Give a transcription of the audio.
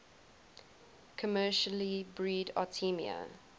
commercially breed artemia